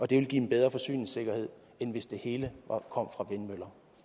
det ville give en bedre forsyningssikkerhed end hvis det hele kom fra vindmøller